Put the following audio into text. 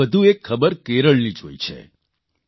મેં વધુ એક ખબર કેરળની જોઇ છે